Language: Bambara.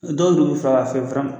Dɔw bɛ far'a fɛ